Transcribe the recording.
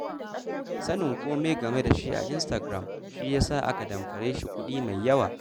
Sanin kome game da shi a Instagram shi ya sa aka damfare shi kuɗi mai yawa.